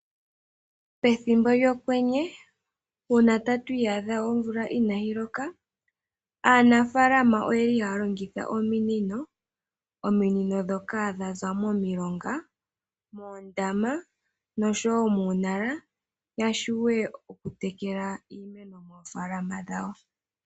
Pethimbo lyokwenye uuna tatu iyadha monkalo yomvula inaayi loka , aanafaalama oyeli haya longitha ominino . Ominino ndhoka ohadhi zi momilonga, moondama oshowo muunala, ya vule okutekela iimeno moofaalama dhawo.